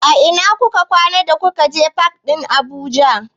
A ina kuka kwana da kuka je fak ɗin Abuja?